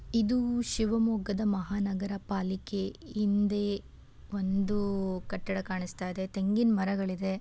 ಇದು ಶಿವಮೊಗ್ಗದ ಮಹಾನಗರ ಪಾಲಿಕೆ. ಹಿಂದೆ ಒಂದು ಕಟ್ಟಡ ಕಾಣಿಸ್ತಾ ಇದೆ ತೆಂಗಿನ್ ಮರಗಳಿದೆ.